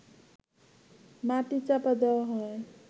মাটি চাপা দেয়া হয়